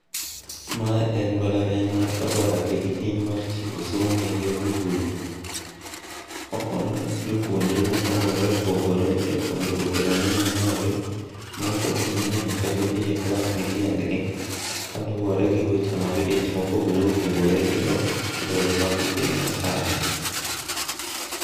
Mae en mbalariany mar Kabarak e kidieny mar timo somo eyor mbui. Okonyo jopuonjre mopogore opogore e puojnruok e rang'iny mamalo. maok ochuno ni nyaka gidhi e klas gi tiendgi kaluwore gi weche mag dich ma opogore opogore to kend lony mag penj masani